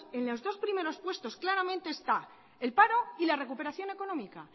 en los dos primeros puestos claramente está el paro y la recuperación económica